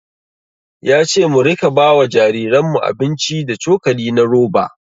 Ya ce mu rika ba wa jariranmu abinci da cokali na roba.